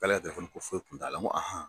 K'ale ka ko foyi kun t'a la n ko